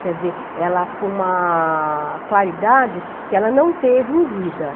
Quer dizer, ela com uma claridade que ela não teve em vida.